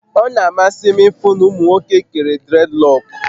O n'amasi m ifụ na ụmụ nwoke kere dredlọkụ